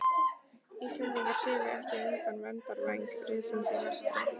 Íslendingar hyrfu ekki undan verndarvæng risans í vestri!